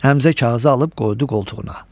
Həmzə kağızı alıb qoydu qoltuğuna.